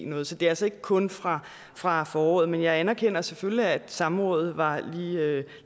noget så det er altså ikke kun fra fra foråret men jeg anerkender selvfølgelig at samrådet var